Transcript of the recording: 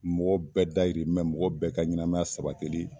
Mɔgɔ bɛɛ dayirimɛ mɔgɔ bɛɛ ka ɲɛnama sabatili